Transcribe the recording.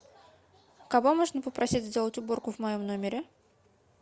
кого можно попросить сделать уборку в моем номере